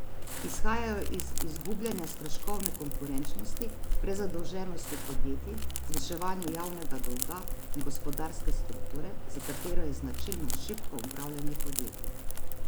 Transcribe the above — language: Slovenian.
Izhajajo iz izgubljanja stroškovne konkurenčnosti, prezadolženosti podjetij, zviševanju javnega dolga in gospodarske strukture, za katero je značilno šibko upravljanje podjetij.